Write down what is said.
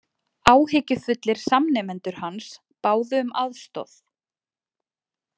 Áhyggjufullir samnemendur hans báðu um aðstoð